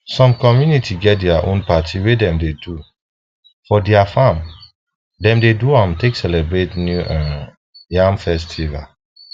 some community get their own party wey dem do for their farm dem dey do am take celebrate new um yam festival